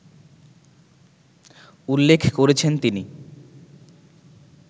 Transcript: উল্লেখ করেছেন তিনি